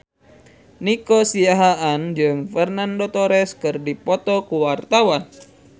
Nico Siahaan jeung Fernando Torres keur dipoto ku wartawan